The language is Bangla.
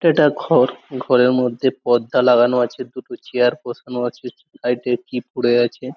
এটা একটা ঘর। ঘরের মধ্যে পর্দা লাগানো আছে দুটো চেয়ার বসানো আছে লাইট এর কি পড়ে আছে।